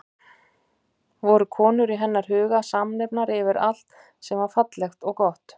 Voru konur í hennar huga samnefnari yfir allt sem var fallegt og gott?